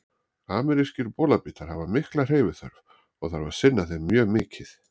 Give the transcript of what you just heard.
Amerískir bolabítar hafa mikla hreyfiþörf og þarf að sinna þeim mjög mikið.